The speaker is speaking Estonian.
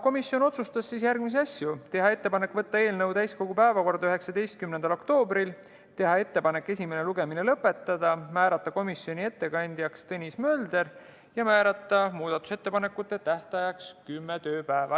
Komisjon otsustas järgmisi asju: teha ettepanek võtta eelnõu täiskogu 19. oktoobri päevakorda, teha ettepanek esimene lugemine lõpetada, määrata komisjoni ettekandjaks Tõnis Mölder ja muudatusettepanekute tähtajaks kümme tööpäeva.